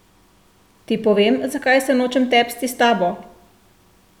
Ti povem, zakaj se nočem tepsti s tabo?